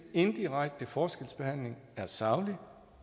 indirekte forskelsbehandling er saglig